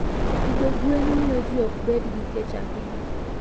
Pidho gwen miyo ji ok bed gi kech ahinya.